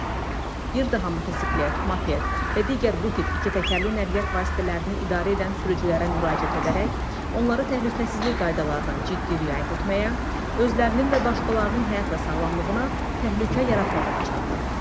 Bir daha motosiklet, moped və digər bu tip ikitəkərli nəqliyyat vasitələrini idarə edən sürücülərə müraciət edərək, onları təhlükəsizlik qaydalarına ciddi riayət etməyə, özlərinin və başqalarının həyat və sağlamlığına təhlükə yaratmamağa çağırırıq.